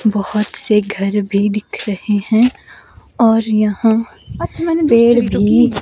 बहुत से घर भी दिख रहे हैं और यहाँ पेड़ भी--